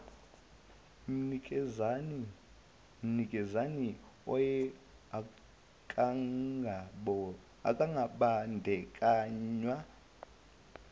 mnikazi oye akangabandakanywa